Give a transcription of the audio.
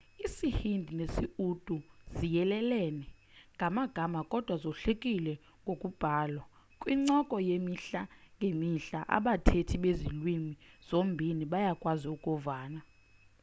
isii-hindi nesi-urdu ziyelelene ngamagama kodwa zohlukile ngokubhalwa kwincoko yemihla ngemihla abathethi bezi lwimi zombini bayakwazi ukuvana